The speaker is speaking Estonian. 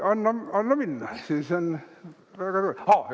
Anna minna, siis on väga tore!